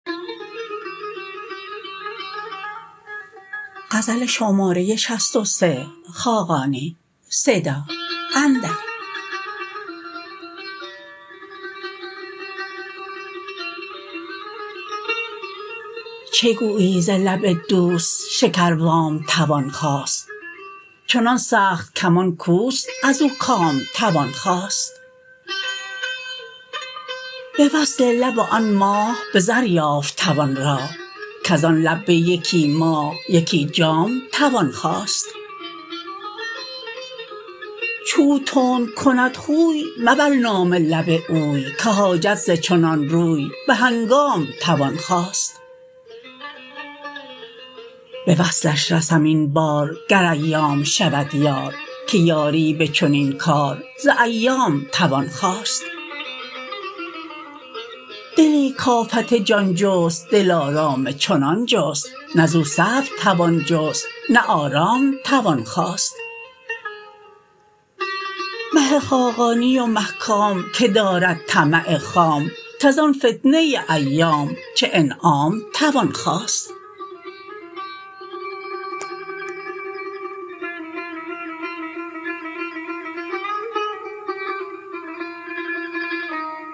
چه گویی ز لب دوست شکر وام توان خواست چنان سخت کمان کوست ازو کام توان خواست به وصل لب آن ماه به زر یافت توان راه کز آن لب به یکی ماه یکی جام توان خواست چو او تند کند خوی مبر نام لب اوی که حاجت ز چنان روی به هنگام توان خواست به وصلش رسم این بار گر ایام شود یار که یاری به چنین کار ز ایام توان خواست دلی کافت جان جست دلارام چنان جست نه زو صبر توان جست نه آرام توان خواست مه خاقانی و مه کام که دارد طمع خام کز آن فتنه ایام چه انعام توان خواست